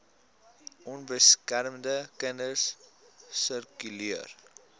onbeskermde kinders sirkuleer